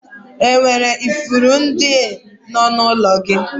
E nwere ifuru ndị nọ n'ụlọ gị?